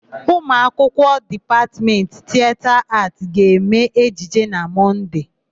Ụmụakwụkwọ Dipatmetị Tieta Aatị ga-eme ejije na Mọnde.